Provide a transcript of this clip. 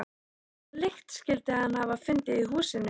Hvaða lykt skyldi hann hafa fundið í húsinu?